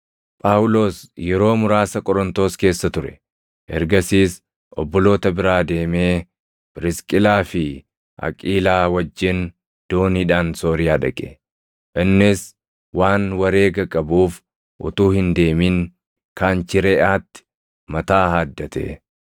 Phaawulos yeroo muraasa Qorontos keessa ture. Ergasiis obboloota biraa deemee Phirisqilaa fi Aqiilaa wajjin dooniidhaan Sooriyaa dhaqe; innis waan wareega qabuuf utuu hin deemin Kanchireʼaatti mataa haaddate.